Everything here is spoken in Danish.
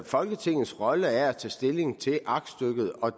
folketingets rolle er at tage stilling til aktstykket og